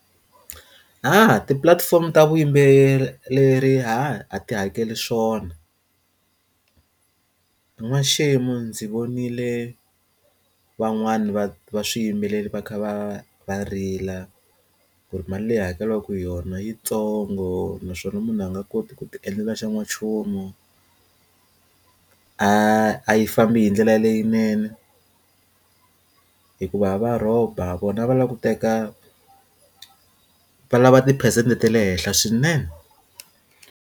ti platform ta vuyimbeleri a ti hakeli swona n'waxemu ndzi vonile van'wani va va swiyimbeleri va kha va va rila ku ri mali leyi hakeriwaka ku yona yitsongo naswona munhu a nga koti ku ti endlela xa n'wanchumu a yi fambi hi ndlela leyinene hikuva va rhoba vona va lava ku teka va lava tiphesente ta le henhla swinene.